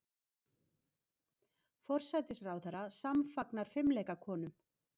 Forsætisráðherra samfagnar fimleikakonum